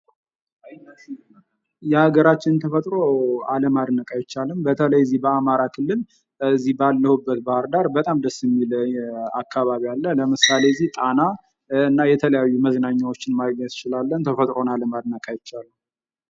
የሀገራችንን ተፈጥሮ አለማድነቅ አይቻልም ። በተለይ በዚህ በአማራ ክልል በዚህ ባለሁበት ባህር ዳር በጣም ደስ የሚል አካባቢ አለ ። ለምሳሌ እዚህ ጣና እና የተለያዩ መዝናኛዎች ማግኘት እንችላለን ። ተፈጥሮን አለማድነቅ አይቻልም ።